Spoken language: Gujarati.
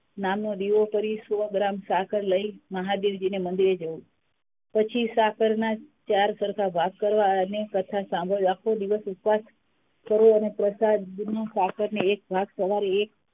નામનો દીવો કરી સો ગ્રામ સાકાર લઇ મહાદેવજી ના મન્દિર એ જઉં છું પછી સાકર ના ચાર સરખા ભાગ કરી અને કથા સાંભળવા આખો દિવસ ઉપવાસ કરવું અને પ્રસાદનું સાકર ને એક ભાગ સવારે એક